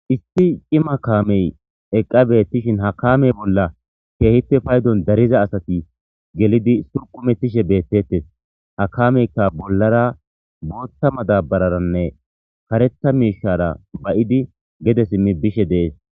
Issi cimma kamme eqqa bethishin ha kamme bolla kehippe payddon darida assathi gelidi kurkumethishe bethethess. Ha kameka bollara boththa madabararane karetha mishshara ba'idi gede simidi bishe dees.